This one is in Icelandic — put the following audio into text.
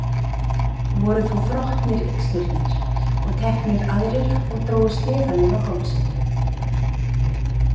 Voru þá þrotnir yxnirnir og teknir aðrir og drógu sleðann inn á hálsinn.